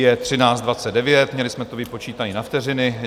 Je 13.29, měli jsme to vypočítané na vteřiny.